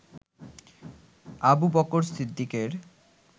Abu Bakr সিদ্দিকের